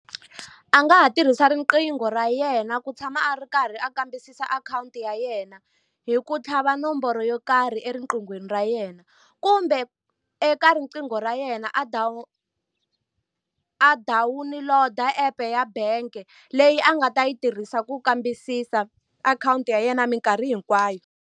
A nga ha tirhisa riqingho ra yena ku tshama a ri karhi a kambisisa akhawunti ya yena, hi ku tlhava nomboro yo karhi eriqinghweni ra yena. Kumbe eka riqingho ra yena a a dawuniloda app-e ya bank leyi a nga ta yi tirhisa ku kambisisa akhawunti ya yena mikarhi hinkwayo.